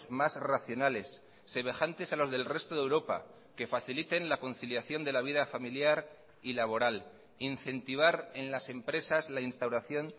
más racionales semejantes a los del resto de europa que faciliten la conciliación de la vida familiar y laboral incentivar en las empresas la instauración